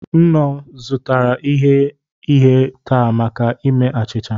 M nnọọ zụtara ighe ihe taa maka ime achịcha